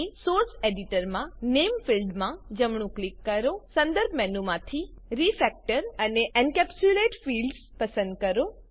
source editor માં નામ ફિલ્ડમાં જમણું ક્લિક કરો સંદર્ભ મેનુમાંથી રિફેક્ટર અને એન્કેપ્સ્યુલેટ ફિલ્ડ્સ પસંદ કરો